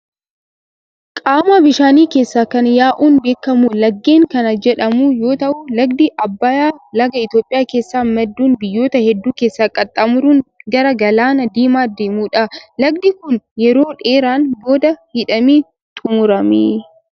Qaama bishaanii keessaa kan yaa'uun beekamu laggeen kan jedhamu yoo ta'u, lagdi Abbayyaa laga Itoophiyaa keessaa madduun biyyoota hedduu keessa qaxxaamuruun gara galaana Diimaa adeemudha. Lagdi kun yeroo dheeraan booda hidhamee xumurame.